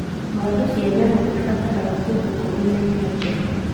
Ng'ondu cia nyama nĩ ibataraga kũndũ kũrĩ na irio njega